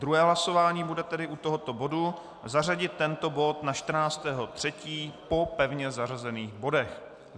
Druhé hlasování bude tedy u tohoto bodu zařadit tento bod na 14. března po pevně zařazených bodech.